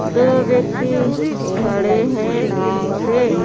दो व्यक्ति खड़े हैं नाव पे।